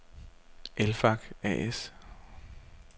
Elfac A/S